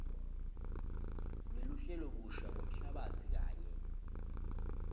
teluhlelobusha lwemhlabatsi kanye